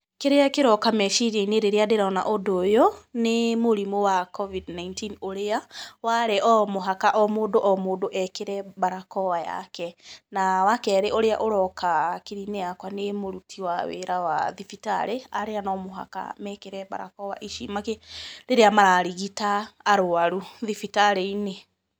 Kĩrĩa kĩroka meciria-inĩ rĩrĩa ndĩrona ũndũ ũyũ, nĩ mũrimũ wa Covid-19 ũrĩa warĩ o mũhaka o mũndũ o mũndũ ekĩre mbarakoa yake. Na wakerĩ ũrĩa ũroka hakiri-inĩ yakwa nĩ mũruti wa wĩra wa thibitarĩ arĩa no mũhaka mekĩre mbarakoa ici rĩrĩa mararigita arwaru thibitarĩ-inĩ.